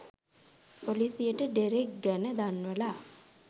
පොලිසියට ඩෙරෙක් ගැන දන්වලා